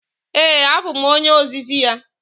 Ee, abụ m onye ozizi ya.